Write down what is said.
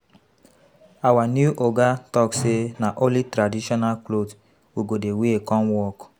Our new oga talk say na only traditional cloth we go dey wear come work